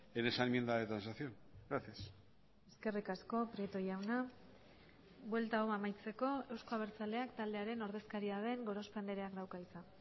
en esa enmienda de transacción gracias eskerrik asko prieto jauna buelta hau amaitzeko euzko abertzaleak taldearen ordezkaria den gorospe andreak dauka hitza